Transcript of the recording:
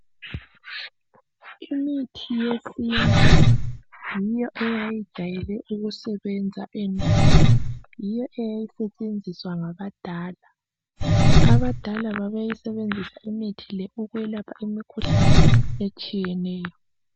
Imithi yesintu yiyo eyayijayele ukusebenza endulo yiyo eyayisetshenziswa ngabadala, abadala babesebenzisa imithi le ukwelapha imikhuhlane etshiyeneyo.